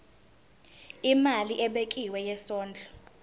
imali ebekiwe yesondlo